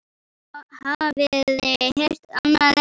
Hafiði heyrt annað eins?